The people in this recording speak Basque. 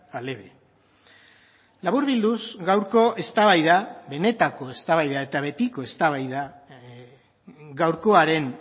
al eve laburbilduz gaurko eztabaida benetako eztabaida eta betiko eztabaida gaurkoaren